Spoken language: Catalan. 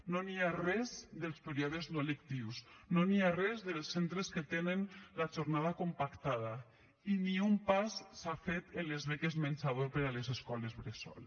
no hi ha res dels períodes no lectius no hi ha res dels centres que tenen la jornada compactada i ni un pas s’ha fet en les beques menjador per a les escoles bressol